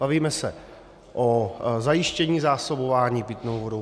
Bavíme se o zajištění zásobování pitnou vodou.